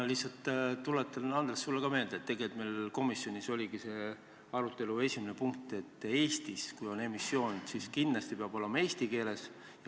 Ma lihtsalt tuletan, Andres, sulle meelde, et tegelikult meil komisjonis oligi see arutelu esimene teema, et kui Eestis on emissioon, siis kindlasti peab prospekt olema eesti keeles.